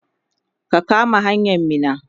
ka kama hanyan Minna!